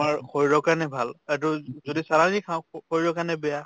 আমাৰ শৰীৰৰ কাৰণে ভাল। এইটো যদি চালানী খাওঁ, স শৰীৰৰ কাৰণে বেয়া